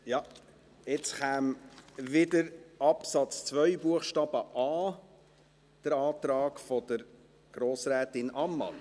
Ja, jetzt käme wieder Absatz 2 Buchstabe a, der Antrag von Grossrätin Ammann.